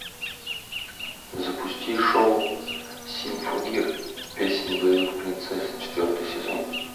запусти шоу симфогир песнь боевых принцесс четвертый сезон